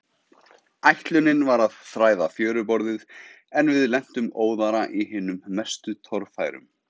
Ætlunin var að þræða fjöruborðið, en við lentum óðara í hinum mestu torfærum.